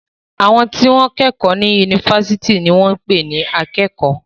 Àwọn tí wọ́n kẹ́kọ̀ọ́ ní yunifásitì ní wọ́n ń pè ní akẹ́kọ̀ọ́.